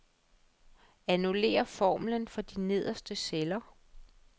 Annullér formlen for de nederste celler.